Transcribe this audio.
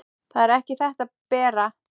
Það er ekki þetta, Bera!